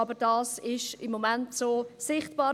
Aber dies ist im Moment so sichtbar.